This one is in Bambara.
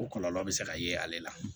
O kɔlɔlɔ bɛ se ka ye ale la